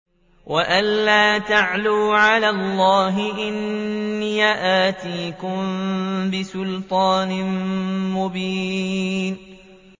وَأَن لَّا تَعْلُوا عَلَى اللَّهِ ۖ إِنِّي آتِيكُم بِسُلْطَانٍ مُّبِينٍ